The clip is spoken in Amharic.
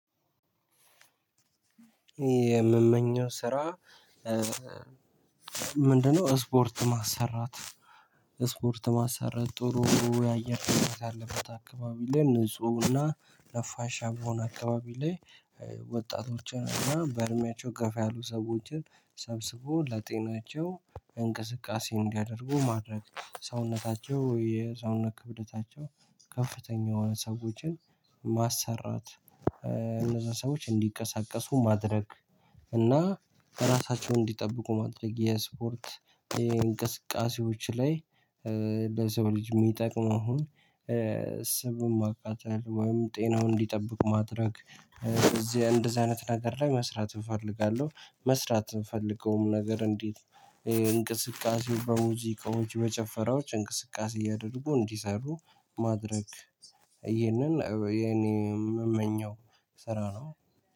የምመኘው ስራ ምንድነው ስፖርት ማሰራት ስፖርት ማሰራት ጥሩ ያየር ሁኔታ ካለበት አካባቢ ላይ ንፁህና ነፋሻማ በሆነ አካባቢ ላይ ወጣቶችን እና በእድሜያቸው ገፋ ያሉ ሰዎችን ሰብስቦ ለጤናቸው እንቅስቃሴ እንዲያደርጉ ማድረግ ሰውነታቸው የሰውነት ክብደታቸው ከፍተኛ የሆኑ ሰዎችን ማሰራት እነዛ ሰዎች እንዲቀሰቀሱ ማድረግ እና ራሳቸውን እንዲጠብቁ ማድረግ የስፖርት የእንቅስቃሴዎች ላይ ለሰው ልጅ የሚጠቅመውን ስቡን ማቃጠል ወይም ጤናውን እንዲጠብቅ ማድረግ እዚህ እንደዚህ አይነት ነገር ላይ መስራት እፈልጋለሁ መስራት የምፈልገውም ነገር እንዴት እንቅስቃሴው በሙዚቃዎች በጭፈራዎች እንቅስቃሴ እያደረጉ እንዲሰሩ ማድረግ ይሄንን የኔ የምመኘው ስራ ነው።